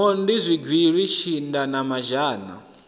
mondi zwigili tshinda na mazhana